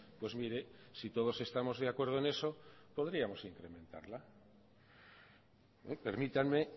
pues mire si todos estamos de acuerdo en eso podríamos incrementarla permítanme